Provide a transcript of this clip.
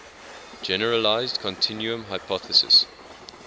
generalized continuum hypothesis